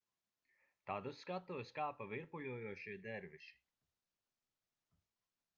tad uz skatuves kāpa virpuļojošie derviši